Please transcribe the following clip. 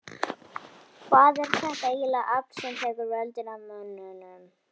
Hvað er þetta ægilega afl sem tekur völdin af mönnum?